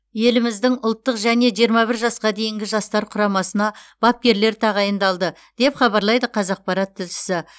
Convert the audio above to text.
еліміздің ұлттық және жиырма бір жасқа дейінгі жастар құрамасына бапкерлер тағайындалды деп хабарлайды қазақпарат тілшісі